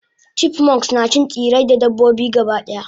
chipmunks nacin tsirrai da dabbobi gabadaya